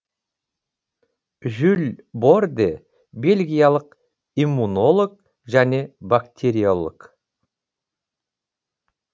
жюль борде бельгиялық иммунолог және бактериолог